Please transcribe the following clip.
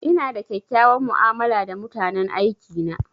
Ina da kyakkyawan mu'amala da mutanen aiki na.